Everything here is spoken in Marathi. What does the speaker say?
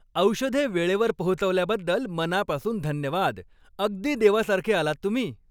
औषधे वेळेवर पोहोचवल्याबद्दल मनापासून धन्यवाद. अगदी देवासारखे आलात तुम्ही.